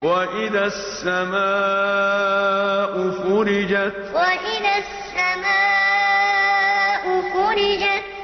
وَإِذَا السَّمَاءُ فُرِجَتْ وَإِذَا السَّمَاءُ فُرِجَتْ